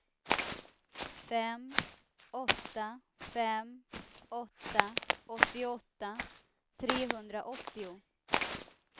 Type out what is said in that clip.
fem åtta fem åtta åttioåtta trehundraåttio